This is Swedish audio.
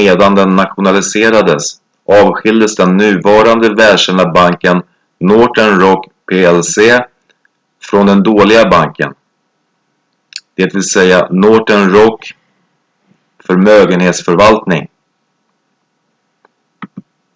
medan den nationaliserades avskiljdes den nuvarande välkända banken northern rock plc från "den dåliga banken" dvs. northern rock förmögenhetsförvaltning.